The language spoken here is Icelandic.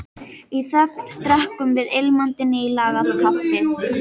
Í þögn drekkum við ilmandi nýlagað kaffið.